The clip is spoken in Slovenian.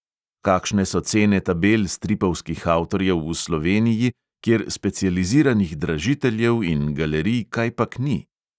Kakšne so cene tabel stripovskih avtorjev v sloveniji, kjer specializiranih dražiteljev in galerij kajpak ni?